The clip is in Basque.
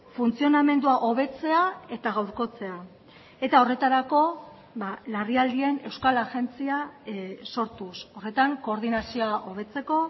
funtzionamendua hobetzea eta gaurkotzea eta horretarako larrialdien euskal agentzia sortuz horretan koordinazioa hobetzeko